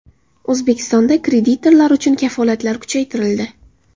O‘zbekistonda kreditorlar uchun kafolatlar kuchaytirildi.